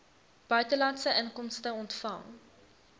buitelandse inkomste ontvang